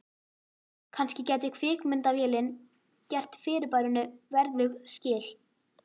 Kannski gæti kvikmyndavélin gert fyrirbærinu verðug skil.